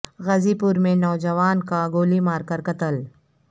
غازی پور میں نوجوان کا گولی مار کر قتل